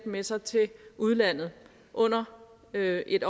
med sig til udlandet under et et